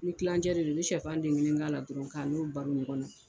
Ni kilancɛ de don i bɛ shɛfan den kelen k'a la dɔrɔn k'a n'o baro ɲɔgɔn na.